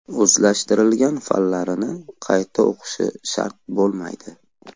O‘zlashtirgan fanlarini qayta o‘qishi shart bo‘lmaydi.